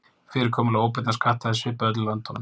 Fyrirkomulag óbeinna skatta er svipað í öllum löndunum.